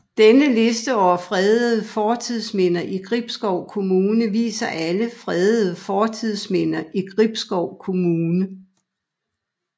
Denne liste over fredede fortidsminder i Gribskov Kommune viser alle fredede fortidsminder i Gribskov Kommune